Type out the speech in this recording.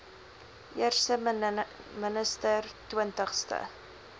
eerste minister twintigste